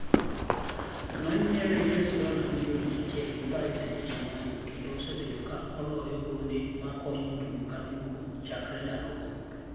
Nonyiewe $ 100m gi Paris St-Germain kendo osebedo ka oloyo gondemakonyo tugo ka tugo chakre ndalogo.